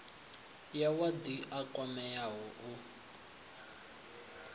ya wadi a kwameaho u